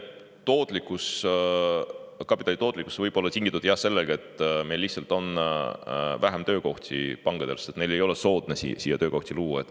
No see kapitali tootlikkus võib olla tingitud jah sellest, et meie pankadel on lihtsalt vähem töökohti, et neil ei ole soodne siia töökohti luua.